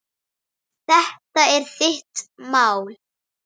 Þetta er þitt mál.